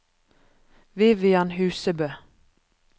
Vivian Husebø